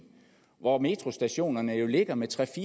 hvor metrostationerne jo ligger med tre